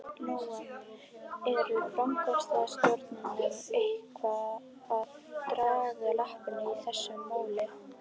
Lóa: Eru framsóknarmenn eitthvað að draga lappirnar í þessu máli?